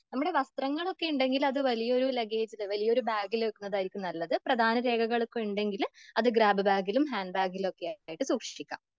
നമ്മുടെ വസ്ത്രങ്ങളൊക്കെ ഉണ്ടെങ്കിൽ അതൊരു വലിയ ലെഗേജ്ജ് വലിയ ബാഗിൽ വെക്കുന്നതായിരിക്കും നല്ലത്. പ്രധാന രേഖകളൊക്കെ ഉണ്ടെങ്കില് അത് ഗ്രാബ് ബാഗിലും ഹാൻഡ്ബാഗിലൊക്കെ ആയിട്ട് സൂക്ഷിക്കാം.